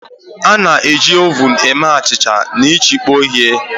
A na-eji ovuun eme achịcha na ịchekpọ ihe